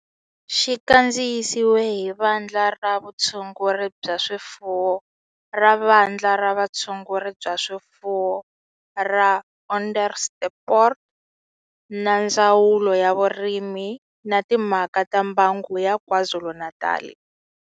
Xi kandziyisiwe hi Vandla ra Vutshunguri bya swifuwo ra Vandla ra Vutshunguri bya swifuwo ra Onderstepoort na Ndzawulo ya Vurimi na Timhaka ta Mbango ya KwaZulu-Natal.